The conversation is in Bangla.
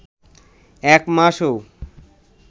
এক মাসও